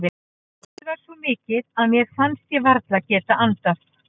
Óloftið var svo mikið að mér fannst ég varla geta andað.